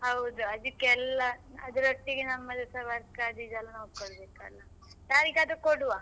ಹೌದು ಅದಿಕ್ಕೆಲ್ಲ ಅದ್ರೊಟ್ಟಿಗೆ ನಮ್ಮದೆಲ್ಲ work ಅದು ಇದು ಎಲ್ಲಾ ನೋಡ್ಬೇಕಲ್ಲ, ಯಾರಿಗಾದ್ರೂ ಕೊಡುವ.